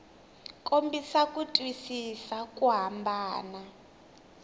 kombisa ku twisisa ku hambana